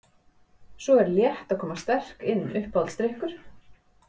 Svo er Létt að koma sterk inn Uppáhaldsdrykkur?